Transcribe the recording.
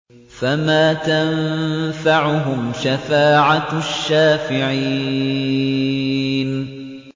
فَمَا تَنفَعُهُمْ شَفَاعَةُ الشَّافِعِينَ